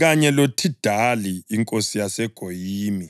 kanye loThidali inkosi yaseGoyimi